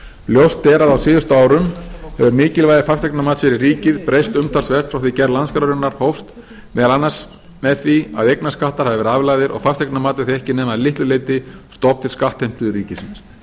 ljóst er að á síðustu árum hefur mikilvægi fasteignamats fyrir ríkið breyst umtalsvert frá því gerð landskrárinnar hófst meðal annars með því að eignarskattar hafa verið aflagðir og fasteignamat er því ekki nema að litlu leyti stofn til skattheimtu ríkisins